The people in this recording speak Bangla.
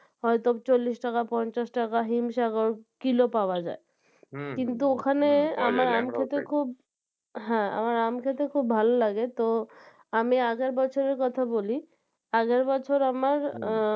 হয়তো চল্লিশ টাকা পঞ্চাশ টাকা হিম সাগর কিলো পাওয়া যায় কিন্তু ওখানে আমার আম খেতে খুব হ্যাঁ আমার আম খেতে খুব ভালো লাগে তো আমি আগের বছরের কথা বলি আগের বছর আমার আহ